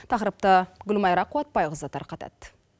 тақырыпты гүлмайра қуатбайқызы тарқытады